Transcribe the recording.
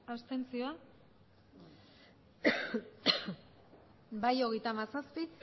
abstentzioak bai hogeita hamazazpi